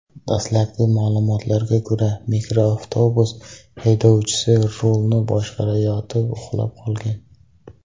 Dastlabki ma’lumotlarga ko‘ra, mikroavtobus haydovchisi rulni boshqarayotib uxlab qolgan.